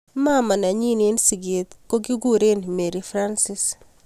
mamaa nenyi eng siket kokikurei Mary Francis